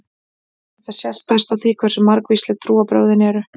Þetta sést best á því hversu margvísleg trúarbrögðin eru.